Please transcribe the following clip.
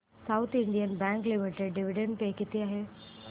south Indian Bank Limited dividend pay किती आहे